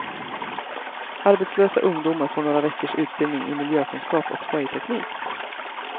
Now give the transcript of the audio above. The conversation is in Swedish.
Arbetslösa ungdomar får några veckors utbildning i miljökunskap och säljteknik.